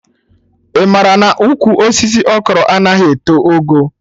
Ị mara na ụkwụ osisi Okro anaghị eto ogo?